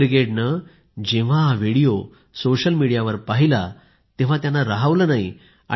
युवा ब्रिगेडने जेव्हा हा व्हिडिओ सोशल मीडियावर पाहिला तेव्हा त्यांना राहवलं नाही